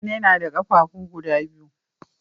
Mutane nada qafafu guda biyu